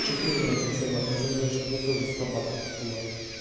четырнадцать собак не забывай что ты тоже собака сутулая